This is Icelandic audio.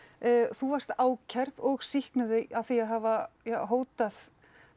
þú varst ákærð og sýknuð af því að hafa hótað